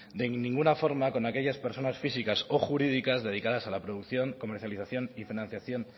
de ninguna forma con aquellas personas físicas o jurídicas dedicadas a la producción comercialización y financiación